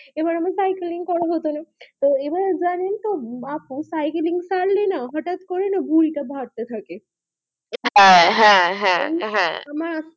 এবার আমি সাইকেলিং করাই ওখানে তো আবার যানেন তো আপনার সাইকেলিং ছাড়লে না হটাৎ করে ভূরি তা বাড়তে থাকে হা হা হা হা আমার